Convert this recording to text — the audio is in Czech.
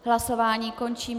Hlasování končím.